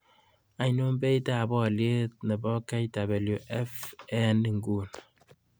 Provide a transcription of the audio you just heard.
Ainon beit ab oliet nebo kwft eng' ing'uni